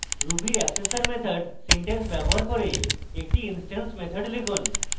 ruby accessor method syntax ব্যবহার করে একটি instance method লিখুন